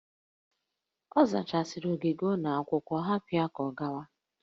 Ọ zachasịrị ogige ụlọ akwụkwọ, hapụ ya ka ọ gawa!